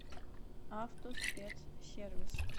автоспецсервис